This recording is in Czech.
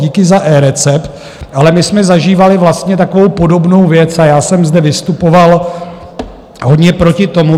Díky za eRecept, ale my jsme zažívali vlastně takovou podobnou věc a já jsem zde vystupoval hodně proti tomu.